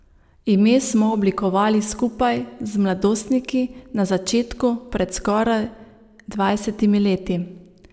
Ime smo oblikovali skupaj z mladostniki na začetku pred skoraj dvajsetimi leti.